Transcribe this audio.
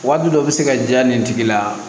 Waati dɔ bɛ se ka diya nin tigi la